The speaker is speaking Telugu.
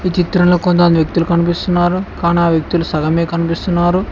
ఈ చిత్రంలో కొంతమంది వ్యక్తులు కనిపిస్తున్నారు కానా వ్యక్తులు సగమే కనిపిస్తున్నారు.